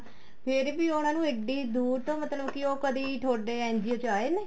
ਫ਼ੇਰ ਵੀ ਉਹਨਾ ਨੂੰ ਐਡੀ ਦੂਰ ਤੋਂ ਮਤਲਬ ਕੀ ਉਹ ਤੁਹਾਡੇ ਕਦੀ NGO ਚ ਆਏ ਨੇ